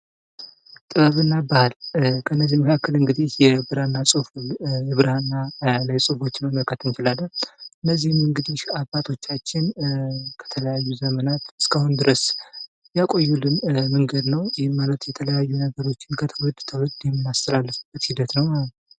ጥበብና ባህል ፦ ከነዚህ መካከል እንግዲህ የብራና ላይ ጽሁፎችን መመልከት እንችላለን ። እነዚህም እንግዲህ አባቶቻችን ከተለያዩ ዘመናት እስካሁን ድረስ ያቆዩልን መንገድ ነው ። ይህም ማለት የተለያዩ ነገሮችን ከትውልድ ትውልድ የምናስተላልፍበት ሂደት ነው ማለት ነው ።